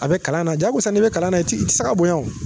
A bɛ kalan na jagosa n' bɛ kalan na i ti i tɛ se ka bonya o